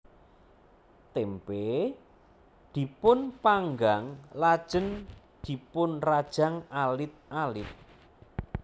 Témpé dipun panggang lajeng dipunrajang alit alit